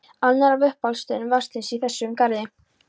Annar af uppáhaldsstöðum Vésteins í þessum garði.